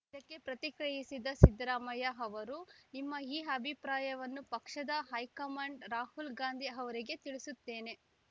ಇದಕ್ಕೆ ಪ್ರತಿಕ್ರೆಯಿಸಿದ ಸಿದ್ದರಾಮಯ್ಯ ಅವರು ನಿಮ್ಮ ಈ ಅಭಿಪ್ರಾಯವನ್ನು ಪಕ್ಷದ ಹೈಕಮಾಂಡ್‌ ರಾಹುಲ್‌ ಗಾಂಧಿ ಅವರಿಗೆ ತಿಳಿಸುತ್ತೇನೆ